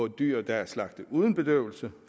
dyr der er slagtet uden bedøvelse